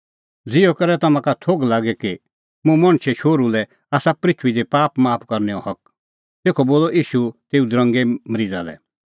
ज़िहअ करै तम्हां का थोघ लागे कि मुंह मणछे शोहरू लै आसा पृथूई दी पाप माफ करनैओ हक तेखअ बोलअ ईशू तेऊ दरंगे मरीज़ा लै